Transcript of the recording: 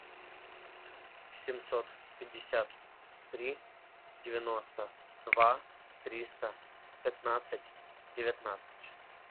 семьсот пятьдесят три девяносто два триста пятнадцать девятнадцать